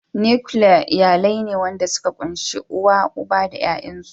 "Nuclear" iyalai ne wanda suka kunshi uw, uba da yayansu.